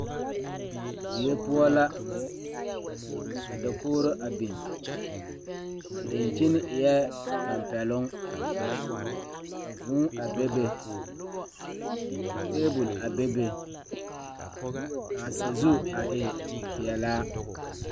Die poɔ la ka dakogro a biŋ a dankyini eɛ tɛmpɛloŋ ka vūū a bebe ka tabol a bebe k,a sazu a e peɛlaa.